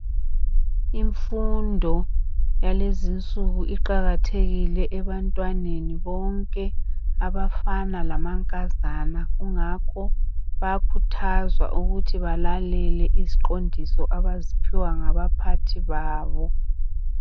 Imfundo yalezi insuku iqakathekile ebantwaneni bonke abafana lamankazana kungakho bayakhuthazwa ukuthi balalele iziqondiso abaziphiwa ngabaphathi babo.